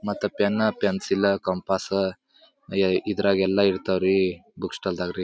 ಮತ್ತೆ pen pencil compass pencil ಇದ್ರಾಗೆ ಎಲ್ಲ ಇರ್ತಾವೆ ರೀ ಬುಕ್ ಸ್ಟಾಲ್ ದಗೆ ರೀ